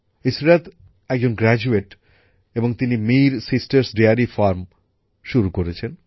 ইসরাত একজন স্নাতক এবং তিনি মির সিস্টার্স ডেয়ারী ফার্ম শুরু করেছেন